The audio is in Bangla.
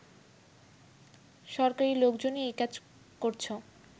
সরকারি লোকজনই এই কাজ করছ